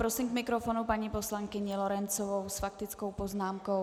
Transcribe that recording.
Prosím k mikrofonu paní poslankyni Lorencovou s faktickou poznámkou.